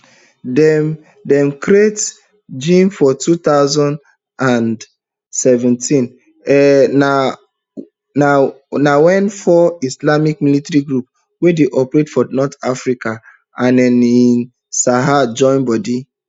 dem dem create jnim for two thousand and seventeen um na wen four islamist militant groups wey dey operate for north africa and um sahel join body